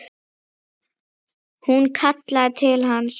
Hún kallaði til hans.